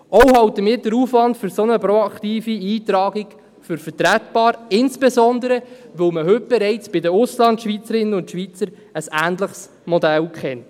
Auch halten wir den Aufwand für eine solche proaktive Eintragung für vertretbar, insbesondere, weil man heute bereits bei den Auslandschweizerinnen und -schweizern ein ähnliches Modell kennt.